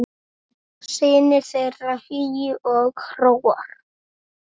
Synir þeirra Hugi og Hróar.